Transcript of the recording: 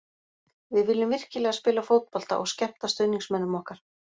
Við viljum virkilega spila fótbolta og skemmta stuðningsmönnum okkar.